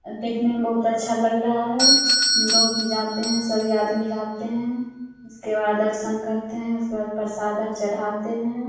और देखने में बहुत अच्छा लग रहा है लोग भी जाते हैं सभी आदमी जाते हैं उसके बाद दर्शन करते है उसके बाद प्रसाद चढ़ाते हैं।